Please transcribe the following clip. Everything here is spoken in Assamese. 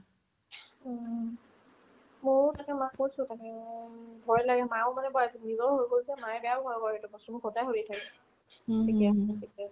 উম্, মোও তাতে মাক কৈছো মানে তাকে উম ভয় লাগে মাও মানে মায়ে বেয়া ভয় কৰে সেইটো বস্তু মোক সদায় শুধি থাকে থিকে আছে নে, থিকে আছে নে